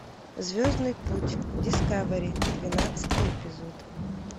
звездный путь дискавери двенадцатый эпизод